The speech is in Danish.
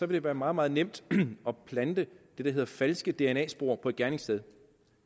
det være meget meget nemt at plante det der hedder falske dna spor på et gerningssted